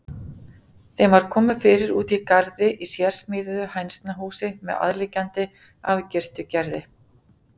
Þeim var komið fyrir úti í garði í sérsmíðuðu hænsnahúsi með aðliggjandi, afgirtu gerði.